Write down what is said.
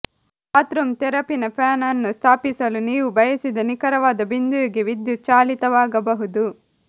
bathroom ತೆರಪಿನ fan ಅನ್ನು ಸ್ಥಾಪಿಸಲು ನೀವು ಬಯಸಿದ ನಿಖರವಾದ ಬಿಂದುವಿಗೆ ವಿದ್ಯುತ್ ಚಾಲಿತವಾಗಬಹುದು